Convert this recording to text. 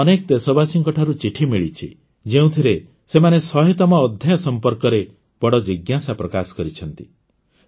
ମୋତେ ଅନେକ ଦେଶବାସୀଙ୍କଠାରୁ ଚିଠି ମିଳିଛି ଯେଉଁଥିରେ ସେମାନେ ଶହେତମ ଅଧ୍ୟାୟ ସମ୍ପର୍କରେ ବଡ଼ ଜିଜ୍ଞାସା ପ୍ରକାଶ କରିଛନ୍ତି